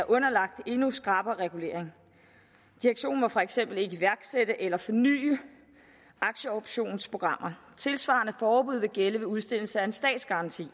underlagt endnu skrappere regulering direktionen må for eksempel ikke iværksætte eller forny aktieoptionsprogrammer tilsvarende forbud vil gælde ved udstedelse af en statsgaranti